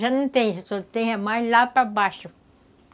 Já não tem, só tem mais lá para baixo.